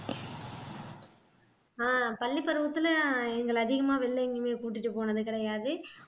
ஆஹ் பள்ளி பருவத்துல எங்களை அதிகமா வெளியில எங்கயுமே கூட்டிட்டு போனது கிடையாது